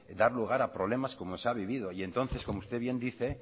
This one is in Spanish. dar lugar a problemas como se ha vivido y entonces como usted bien dice